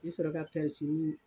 I bi sɔrɔ ka pɛrisini